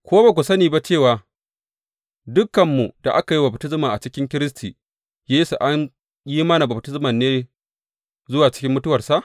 Ko ba ku sani ba cewa dukanmu da aka yi wa baftisma a cikin Kiristi Yesu an yi mana baftismar ne zuwa cikin mutuwarsa?